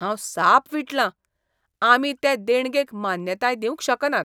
हांव साप विटलां ! आमी ते देणगेक मान्यताय दिवंक शकनात.